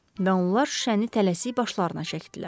Və onlar şüşəni tələsik başlarına çəkdilər.